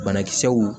Banakisɛw